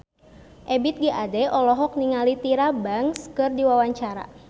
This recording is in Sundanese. Ebith G. Ade olohok ningali Tyra Banks keur diwawancara